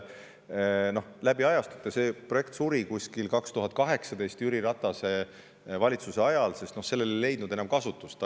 See projekt suri umbes aastal 2018, Jüri Ratase valitsuse ajal, sest sellele ei leitud enam kasutust.